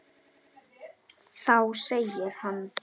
Þá segir hann